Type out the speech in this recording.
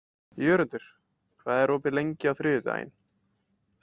Jörundur, hvað er opið lengi á þriðjudaginn?